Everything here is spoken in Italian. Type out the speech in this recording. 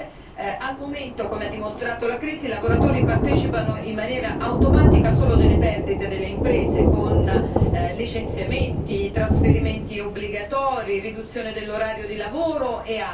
Al momento, come ha dimostrato la crisi, i lavoratori partecipano in maniera automatica solo delle perdite delle imprese, con licenziamenti, trasferimenti obbligatori, riduzione dell'orario di lavoro e altro.